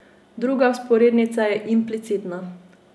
Druga vzporednica je implicitna.